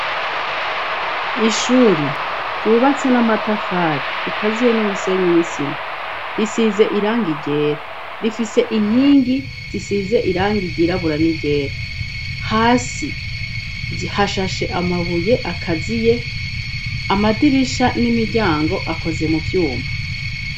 Ishuri ryubatse n'amatafari rikaziye n'umusenyi n'isima risize irangigera rifise inkingi zisize irangigirabura n'igera hasi hashashe amabuye akaziye amadirisha n'imiryango akoze mu vyuma.